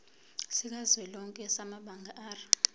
sikazwelonke samabanga r